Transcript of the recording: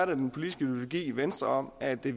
den politiske ideologi i venstre om at vi